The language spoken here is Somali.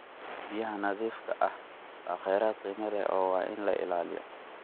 Biyaha nadiifka ah waa kheyraad qiimo leh oo waa in la ilaaliyo.